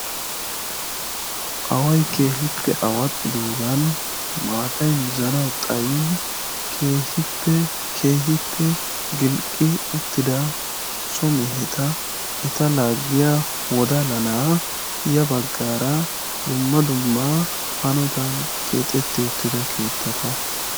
away keehi awxxidoogan maatay mizanawu xayin keehippe keehippe gilqqi uttida so meheta eta laaggiya wodalla na"aa ya baggaara dumma dumma hanotan keexetti uttida keettata.